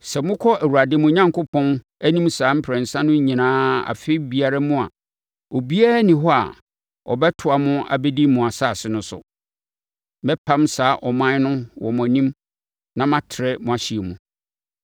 Sɛ mokɔ Awurade, mo Onyankopɔn, anim saa mprɛnsa no nyinaa afe biara mu a, obiara nni hɔ a ɔbɛtoa mo abɛdi mo asase no so. Mɛpam saa aman no wɔ mo anim na matrɛ mo ahyeɛ mu.